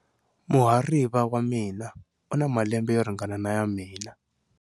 Muhariva wa mina u na malembe yo ringana na ya mina.